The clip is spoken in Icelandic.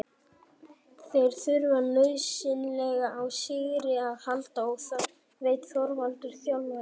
Þeir þurfa nauðsynlega á sigri að halda og það veit Þorvaldur þjálfari.